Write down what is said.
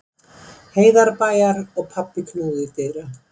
Heiðarbæjar og pabbi knúði dyra.